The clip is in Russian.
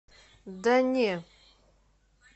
да не